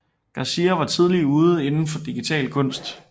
Garcia var tidligt ude inden for digital kunst